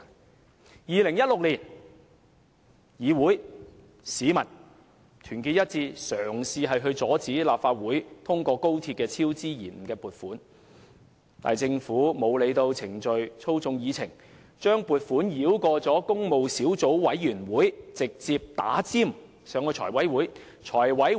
在2016年，議員與市民團結一致，嘗試阻止立法會通過就高鐵超支及延誤作出撥款，但政府卻沒有理會程序，透過操控議程，把撥款申請繞過工務小組委員會，插隊提交財務委員會。